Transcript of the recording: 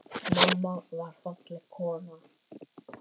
Mamma var falleg kona.